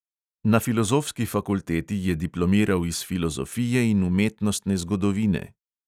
Na filozofski fakulteti je diplomiral iz filozofije in umetnostne zgodovine.